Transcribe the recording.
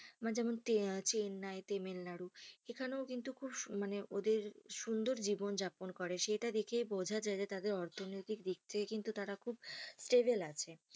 মানে যেমন আহ চেন্নাই, তামিলনাড়ু এখানেও কিন্তু খুব মানে ওদের সুন্দর জীবন যাপন করে সেটা দেখে বোঝা যায় যে তাদের অর্থনৈতিক দিক থেকে কিন্তু তারা খুব stable আছে,